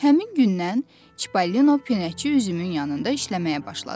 Həmin gündən Çipəlinon pinəçi üzümün yanında işləməyə başladı.